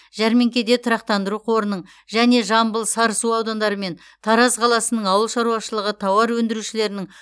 жәрмеңкеде тұрақтандыру қорының және жамбыл сарысу аудандары мен тараз қаласының ауыл шаруашылығы тауар өндірушілерінің